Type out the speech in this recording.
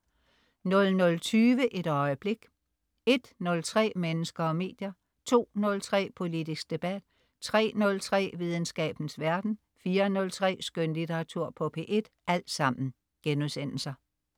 00.20 Et øjeblik* 01.03 Mennesker og medier* 02.03 Politisk debat* 03.03 Videnskabens verden* 04.03 Skønlitteratur på P1*